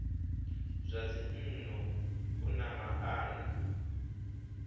zwa dzinnu u na maana